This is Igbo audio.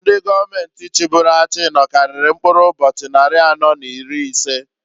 Ndi gọọmenti chiburu achị nọkarịrị mkpụrụ ụbochị nnarị anọọ n'iri ise.